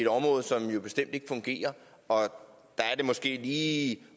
område som jo bestemt ikke fungerer og der er det måske lige